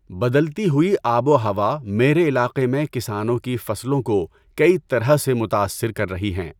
بدلتی ہوئی آب و ہوا میرے علاقے میں کسانوں کی فصلوں کو کئی طرح سے متأثر کر رہی ہیں۔